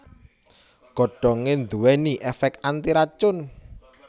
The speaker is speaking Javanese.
Godhongé nduwèni èfèk antiracun